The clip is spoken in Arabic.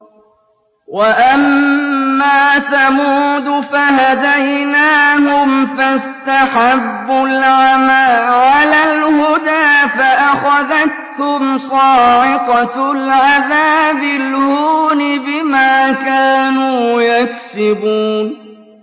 وَأَمَّا ثَمُودُ فَهَدَيْنَاهُمْ فَاسْتَحَبُّوا الْعَمَىٰ عَلَى الْهُدَىٰ فَأَخَذَتْهُمْ صَاعِقَةُ الْعَذَابِ الْهُونِ بِمَا كَانُوا يَكْسِبُونَ